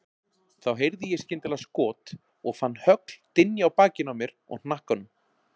Þá heyrði ég skyndilega skot og fann högl dynja á bakinu á mér og hnakkanum.